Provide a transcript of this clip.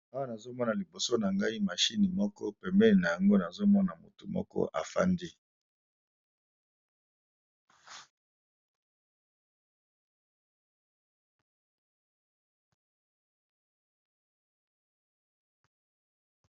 Awa nazo mona liboso na ngai machini moko pembeni na yango nazo mona mutu moko a fandi .